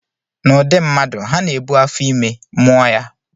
N'ụdị mmadụ, ha na-ebu afọ ime, mụọ ya